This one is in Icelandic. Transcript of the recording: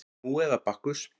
Nú eða Bakkus